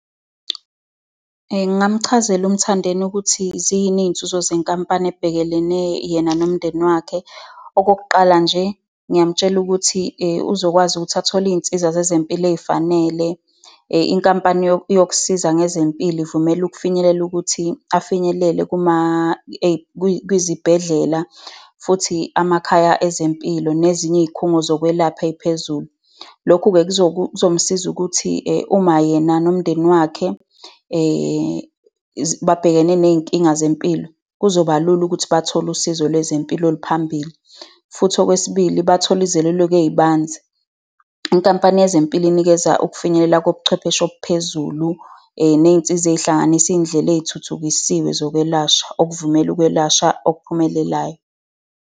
Ngingamchazela uMthandeni ukuthi ziyini izinzuzo zenkampani ebhekelene yena nomndeni wakhe. Okokuqala nje, ngiyamutshela ukuthi uzokwazi ukuthi athole iy'nsiza zezempilo ey'fanele. Inkampani yokusiza ngezempilo, ivumela ukufinyelela ukuthi afinyelele kuma, kwizibhedlela, futhi amakhaya ezempilo nezinye izikhungo zokwelapha ey'phezulu. Lokhu-ke, kuzomsiza ukuthi uma yena nomndeni wakhe babhekane ney'nkinga zempilo, kuzoba lula ukuthi bathole usizo lwezempilo oluphambili. Futhi okwesibili, bathole izeluleko ezibanzi. Inkampani yezempilo inikeza ukufinyelela kobuchwepheshe obuphezulu ney'nsiza ey'hlanganisa iy'ndlela ezithuthukisiwe zokwelashwa, okuvumela ukwelashwa okuphumelelayo.